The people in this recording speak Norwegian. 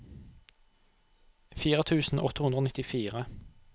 fire tusen åtte hundre og nittifire